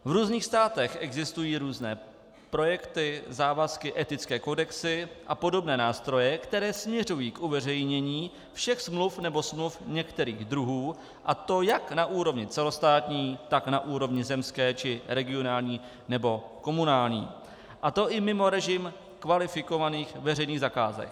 V různých státech existují různé projekty, závazky, etické kodexy a podobné nástroje, které směřují k uveřejnění všech smluv nebo smluv některých druhů, a to jak na úrovni celostátní, tak na úrovni zemské či regionální nebo komunální, a to i mimo režim kvalifikovaných veřejných zakázek.